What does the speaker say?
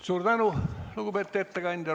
Suur tänu, lugupeetud ettekandja!